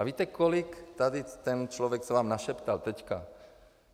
A víte, kolik tady ten člověk, co vám našeptal teďka...